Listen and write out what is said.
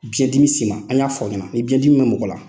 Biɲɛn dimi s'i ma, an y'a fɔ i ɲɛna, ni biɲɛn dimi bɛ mɔgɔ la